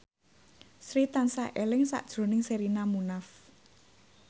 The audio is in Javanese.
Sri tansah eling sakjroning Sherina Munaf